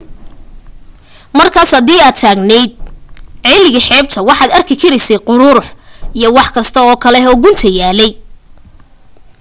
markaas hadii aad taagnayd ceeliga xeebta waxaad arki karaysay quruurux iyo wax kasta oo kale oo gunta yaallay